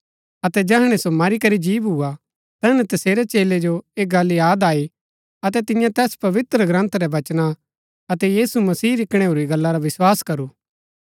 अतै जैहणै सो मरी करी जी भूआ तैहणै तसेरै चेलै जो ऐह गल्ल याद आई अतै तियें तैस पवित्रग्रन्थ रै वचना अतै यीशु मसीह री कणैऊरी गल्ला रा विस्वास करू